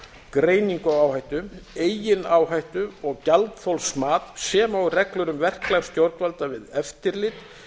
greiningu á áhættu eigin áhættu og gjaldþolsmat sem og reglur um verklag stjórnvalda við eftirlit